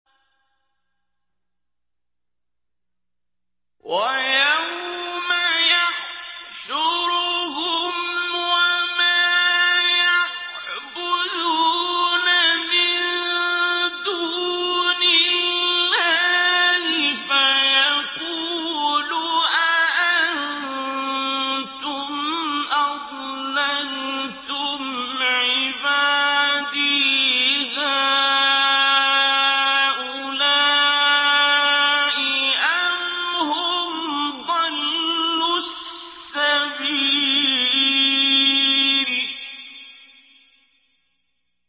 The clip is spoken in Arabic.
وَيَوْمَ يَحْشُرُهُمْ وَمَا يَعْبُدُونَ مِن دُونِ اللَّهِ فَيَقُولُ أَأَنتُمْ أَضْلَلْتُمْ عِبَادِي هَٰؤُلَاءِ أَمْ هُمْ ضَلُّوا السَّبِيلَ